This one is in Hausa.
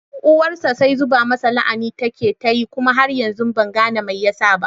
Uwarsa sai zuba masa la'ana take tayi kuma har yanzu ban gane me yasa ba